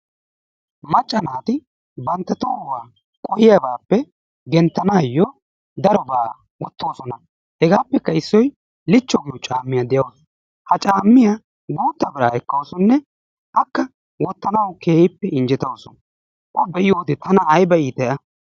Macca naati bantta tohuwa qohiyabaappe genttanaayyo darobaa wottoosona. Hegaappekka issoy lichchakko caammiya de'awusu. Ha caammiya guutta biraa ekkawusunne akka wottanawu keehippe injjetawusu. O be'iyode tana ayiba iitay a.